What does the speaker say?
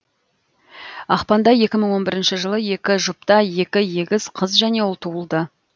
ақпанда екі мың он бірінші жылы екі жұпта екі егіз қыз және ұл туылды